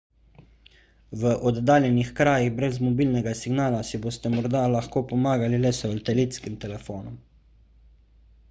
v oddaljenih krajih brez mobilnega signala si boste morda lahko pomagali le s satelitskim telefonom